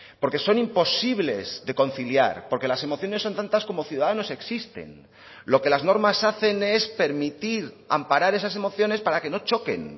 porque son imposibles de conciliar porque las emociones son tantas como ciudadanos existen lo que las normas hacen es permitir amparar esas emociones para que no choquen